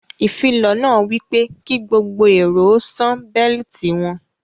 Ìfilọ̀ náà wípé ki gbogbo èrò ó sàn beliiti wọn